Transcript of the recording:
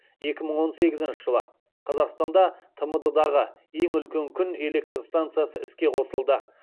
екі мың он сегізінші жылы қазақстанда тмд дағы ең үлкен күн электр станциясы іске қосылды